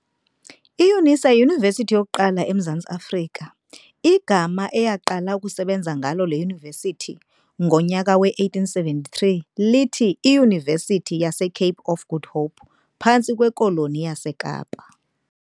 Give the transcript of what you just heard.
IYunisa yiyunivesithi yokuqala emZantsi Afrika - igama eyaqala ukusenza ngalo le yunivesithi ngonyaka we-1873, lithi iYunivesithi yase"Cape of Good Hope", phantsi kweKoloni yaseKapa.